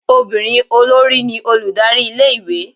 obírín olori ní olùdarí ilé ìwé